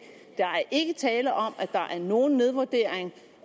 der er ikke tale om at der er nogen nedvurdering